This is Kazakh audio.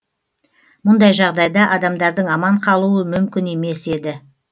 мұндай жағдайда адамдардың аман қалуы мүмкін емес еді